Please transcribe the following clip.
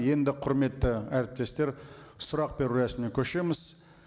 енді құрметті әріптестер сұрақ беру рәсіміне көшеміз